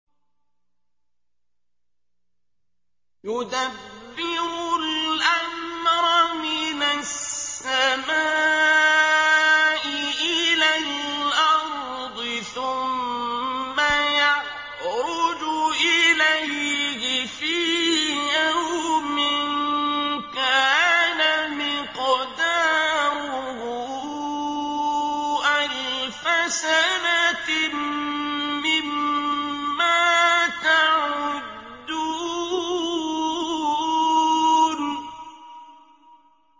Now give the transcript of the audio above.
يُدَبِّرُ الْأَمْرَ مِنَ السَّمَاءِ إِلَى الْأَرْضِ ثُمَّ يَعْرُجُ إِلَيْهِ فِي يَوْمٍ كَانَ مِقْدَارُهُ أَلْفَ سَنَةٍ مِّمَّا تَعُدُّونَ